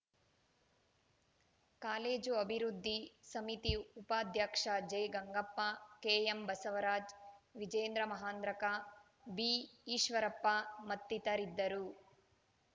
college ಅಭಿವೃದ್ಧಿ ಸಮಿತಿ ಉಪಾಧ್ಯಕ್ಷ ಜೆಗಂಗಪ್ಪ ಕೆಎಂಬಸವರಾಜ ವಿಜೇಂದ್ರ ಮಹೇಂದ್ರಕರ್‌ ಬಿಈಶ್ವರಪ್ಪ ಮತ್ತಿತರರಿದ್ದರು